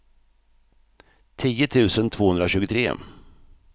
tio tusen tvåhundratjugotre